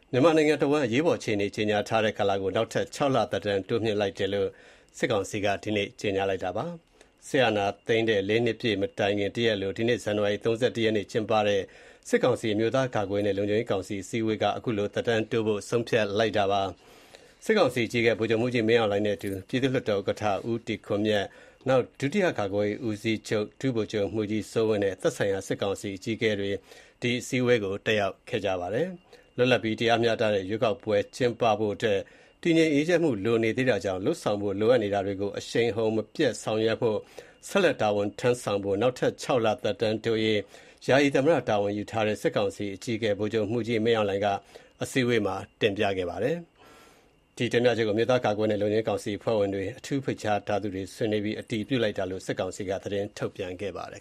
မြန်မာနိုင်ငံတဝှမ်း အရေးပေါ်အခြေအနေ ကြေညာထားတဲ့ ကာလကို နောက်ထပ် ၆ လ သက်တမ်း တိုးမြှင့်လိုက်တဲ့လိုက်တဲ့အကြောင်း စစ်ကောင်စီက ကြေညာပါတယ်။ စစ်တပ်အာဏာသိမ်းတဲ့ ၄ နှစ်ပြည့်မတိုင်ခင် တရက်အလို ဇန်နဝါရီလ ၃၁ ရက်နေ့က ကျင်းပတဲ့ စစ်ကောင်စီ အမျိုးသား ကာကွယ်ရေးနှင့် လုံခြုံရေးကောင်စီ အစည်းအဝေးက သက်တမ်းတိုးဖို့ ဆုံးဖြတ်လိုက်တာပါ။ စစ်ကောင်စီအကြီးအကဲ ဗိုလ်ချုပ်မှူးကြီး မင်းအောင်လှိုင်နဲ့အတူ ပြည်သူ့လွှတ်တော် ဥက္ကဋ္ဌ ဦးတီခွန်မြတ်၊ ဒုတိယ ကာကွယ်ရေးဦးစီးချုပ် ဗိုလ်ချုပ်မှူးကြီး စိုးဝင်းနဲ့ သက်ဆိုင်ရာ စစ်ကောင်စီ အကြီအးကဲတွေ အစည်းအဝေး တက်ရောက်ပါတယ်။ လွတ်လပ်ပြီး တရားမျှတတဲ့ ရွေးကောက်ပွဲ ကျင်းပဖို့အတွက် တည်ငြိမ်အေးချမ်းမှု လိုနေသေးတာကြောင့် လုပ်ဆောင်ဖို့ လိုအပ်နေတာတွေကို အရှိန်အဟုန် မပျက်ဆောင်ရွက်ဖို့၊ ဆက်လက်တာဝန်ထမ်းဆောင်ဖို့ နောက်ထပ် ၆ လ သက်တမ်းတိုးရေး ယာယီသမ္မတတာဝန် ယူထားတဲ့ စစ်ကောင်စီအကြီးကဲ ဗိုလ်ချုပ်မှူးကြီး မင်းအောင်လှိုင်က အစည်းအဝေးမှာ တင်ပြခဲ့တာပါ။ ဒီတင်ပြချက်ကို အမျိုးသားကာကွယ်ရေးနဲ့ လုံခြုံရေးကောင်စီ အဖွဲ့ဝင်တွေ၊ အထူးဖိတ်ကြားထားသူတွေ ဆွေးနွေးပြီး အတည်ပြုလိုက်တာလို့ စစ်ကောင်စီက သတင်းထုတ်ပြန်ပါတယ်